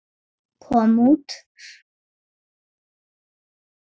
kom út.